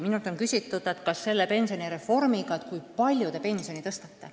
Minult on küsitud, kui palju te selle pensionireformiga pensioni tõstate.